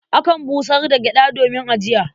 Akan busar da gyaɗa domin ajiya.